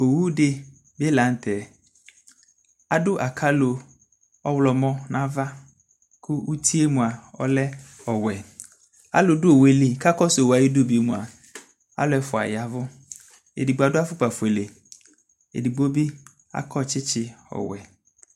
ɔwʋ dibi lantɛ adʋ akalɔ ɔwlɔmɔ nʋ aɣa kʋ ʋtiɛ mʋa ɔlɛ ɔwɛ, alʋdʋ ɔwʋɛli kʋ ɔwʋɛ ayidʋ bi mʋa alʋ ɛƒʋa yavʋ, ɛdigbɔ adʋ aƒʋkpa ƒʋɛlɛ ɛdigbɔ bi akɔ kyikyi ɔwɛ